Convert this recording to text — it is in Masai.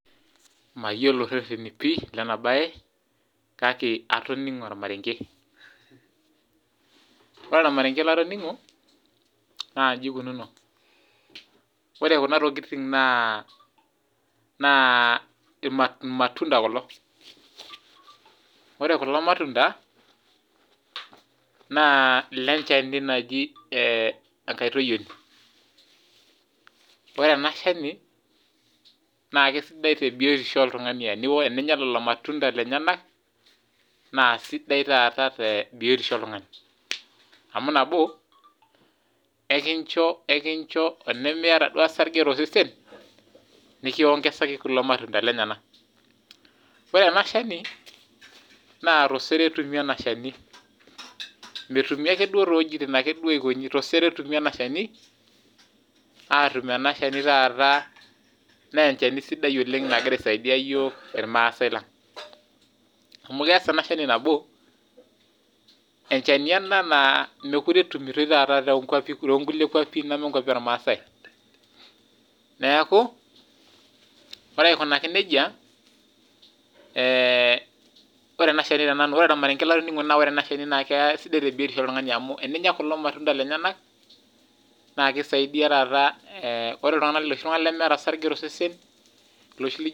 Mayiolo ireteni pii lena baye kake atoningo ormarenge. Wore ormarenge latoningo naa inji kununo wore kuna tokiting naa naa ilmatunda kulo. Wore kulo matunda naa lenchani naji ee enkaitoyioni, wore enashani naa kisidai tebiyiotosho oltungani teninya lelo cs ilmatunda cs lenyenaka naasidai taata tebiyiotisho oltungani. Amu nabo enkincho enkincho tenemiyiata duo orsarnge toosesen cs nikiongesaki cs kulo matunda cs lenyenaka. Wore anashani naa tosero etumi enashani, metumi ake duo toowejitin naikonji tosero etumi enashani aatum enashani taata naa enchani sidai oleng nagira aaisaidia iyiok ilmaasai lang. Amu kias enashani nabo, enchani ena naa mekure etumutoi tookulie kuapi nemekuapi ormaasai. Niake, wore aikunaki nejia, eeh ore enashani teenanu, ore ormarenge latoningo naa wore enashani naa kisidai tebiyiotosho oltungani amu teninya kulo ilmatunda lenyenaka naakisaidia taata loshi lijo .